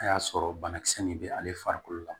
A y'a sɔrɔ banakisɛ min bɛ ale farikolo la